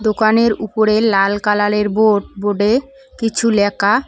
দোকানের উপরে লাল কালালের বোর্ড বোর্ডে কিছু লেখা।